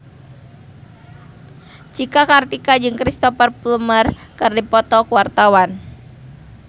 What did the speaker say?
Cika Kartika jeung Cristhoper Plumer keur dipoto ku wartawan